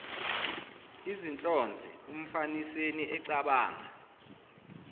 izinhlonze umfaniseni ecabanga